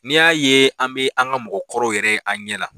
N'i y'a ye an bɛ an ka mɔgɔ kɔrɔw yɛrɛ ye an ɲɛ na